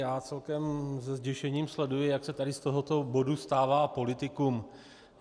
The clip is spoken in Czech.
Já celkem se zděšením sleduji, jak se tady z tohoto bodu stává politikum.